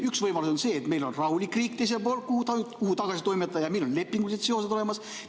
Üks võimalus on see, et meil on teisel pool rahulik riik, kuhu inimene tagasi toimetada, ja meil on lepingulised sidemed olemas.